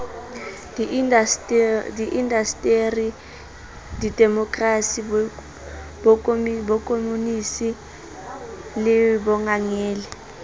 diindasteri demokrasi bokomonisi le bongangele